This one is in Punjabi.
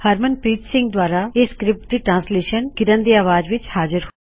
ਹਰਮਨਪ੍ਰੀਤ ਸਿੰਘ ਦਵਾਰਾ ਇਹ ਸਕਰਿਪਟ ਦੀ ਟਰਾਨਸਲੇਸ਼ਨ ਕਿਰਨ ਦੀ ਆਵਾਜ਼ ਵਿੱਚ ਹਾਜ਼ਰ ਹੋਈ